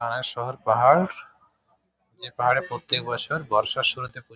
শহর পাহাড় যে পাহাড়ে প্রত্যেক বছর বর্ষার শুরুতে ক--